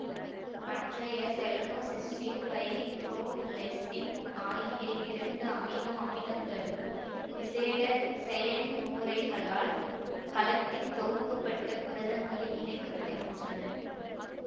மற்றைய selenocysteine pyrrolysine ஆகிய இரண்டு அமினோ அமிலங்களும் விசேட செயன்முறைகளால் கலத்தில் தொகுக்கப்பட்டு புரதங்களில் இணைக்க படுகின்றன